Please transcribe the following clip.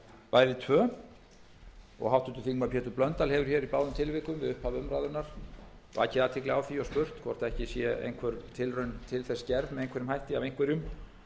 bæði tvö háttvirtur þingmaður pétur blöndal hefur í báðum tilvikum við upphaf umræðunnar vakið athygli á því og spurt hvort ekki sé einhver tilraun gerð til þess af einhverjum